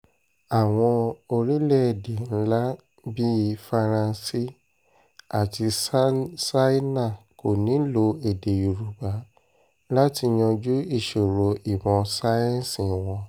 àwọn orílẹ̀‐èdè ńlá bíi faransé àti ṣáínà kò nílò èdè òyìnbó láti yanjú ìṣòro ìmọ̀ sáyẹ́ǹsì wọn